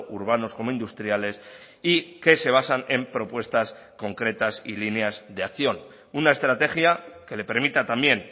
urbanos como industriales y que se basan en propuestas concretas y líneas de acción una estrategia que le permita también